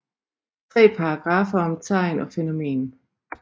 Tre paragraffer om tegn og fænomen